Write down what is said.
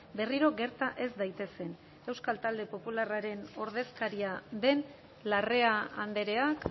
berriro gerta ez daitezen euskal talde popularraren ordezkaria den larrea andreak